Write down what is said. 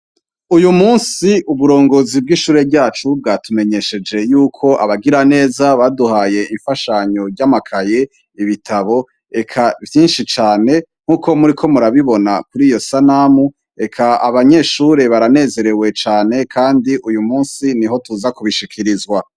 Uyu musi uburongozi bw'ishure ryacu bwatumenyesheje yuko abagira neza baduhaye imfashanyo ry'amakaye ibitabo eka vyinshi cane nk'uko muri ko murabibona kuri iyo sanamu eka abanyeshure baranezerewe cane, kandi uyu musi ni ho tuza kubishikirizwa.